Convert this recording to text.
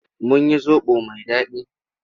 Mun yi zoɓo mai daɗi.